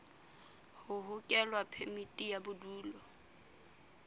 ho hokela phemiti ya bodulo